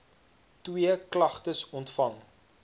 twee klagtes ontvang